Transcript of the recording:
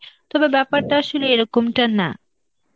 তবে ব্যাপারটা আসলে এরকমটা না.